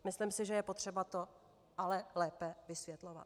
Myslím si, že je potřeba to ale lépe vysvětlovat.